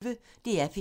DR P1